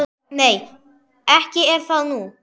Nei, ekki er það nú.